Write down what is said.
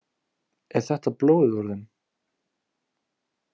Er þetta blóðið úr þeim?